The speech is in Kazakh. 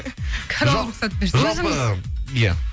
жоқ жалпы иә